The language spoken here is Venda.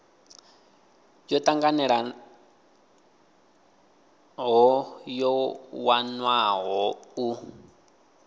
yo tanganelaho yo wanwaho u